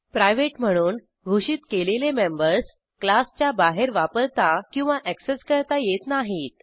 private म्हणून घोषित केलेले मेंबर्स क्लासच्या बाहेर वापरता किंवा अॅक्सेस करता येत नाहीत